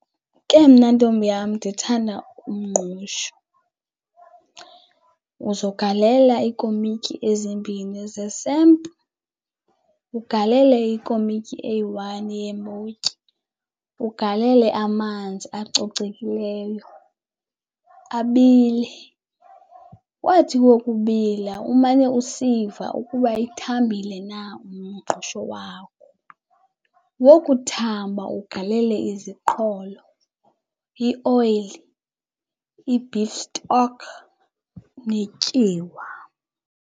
Ke mna ntombi yam ndithanda umngqusho. Uzogalela iikomityi ezimbini ze-samp, ugalele ikomityi eyi-one yeembotyi, ugalele amanzi acocekileyo abile. Wathi wokubila umane usiva ukuba ithambile na umngqusho wakho. Wokuthamba ugalele iziqholo, ioyile, i-beef stock netyiwa.